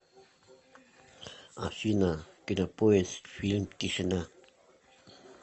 афина кинопоиск фильм тишина